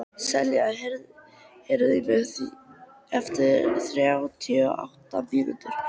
Selja, heyrðu í mér eftir þrjátíu og átta mínútur.